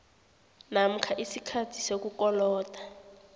namkha isikhathi sokukoloda